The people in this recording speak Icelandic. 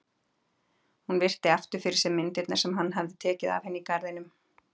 Hún virti aftur fyrir sér myndirnar sem hann hafði tekið af henni í garðinum.